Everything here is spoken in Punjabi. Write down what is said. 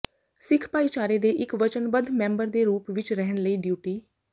ਸਿੱਖ ਭਾਈਚਾਰੇ ਦੇ ਇਕ ਵਚਨਬੱਧ ਮੈਂਬਰ ਦੇ ਰੂਪ ਵਿਚ ਰਹਿਣ ਲਈ ਡਿਊਟੀ